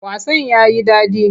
Wasan ya yi daɗi.